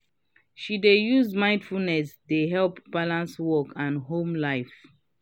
she dey use mindfulness dey help balance work and home life.